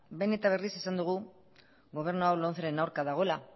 behin eta berriz esan dugu gobernu hau lomceren aurka dagoela